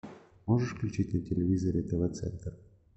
можешь включить на телевизоре тв центр